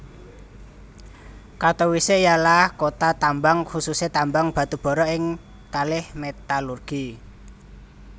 Katowice ialah kota tambang khususe tambang batubara kalih metalurgi